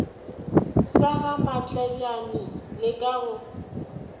sa gamatlebjane le ka go